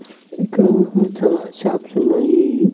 ఇక్కడ చాలా షాప్స్ ఉన్నాయి.